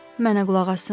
Mənə qulaq assın.